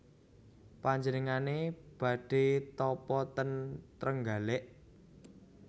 Panjenengan badhe tapa ten Trenggalek?